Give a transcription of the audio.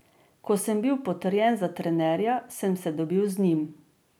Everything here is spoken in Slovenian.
Ko sem bil potrjen za trenerja, sem se dobil z njim.